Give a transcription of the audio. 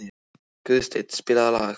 Guðstein, spilaðu lag.